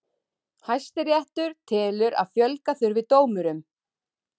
Hæstiréttur telur að fjölga þurfi dómurum